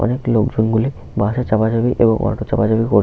অনেক লোকজন -গুলি বাস -এ চাপাচাপি ও অটো -র চাপাচাপি কর--